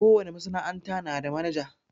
Ko wane masana'anta na da manaja.